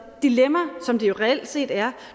dilemma som det jo reelt set er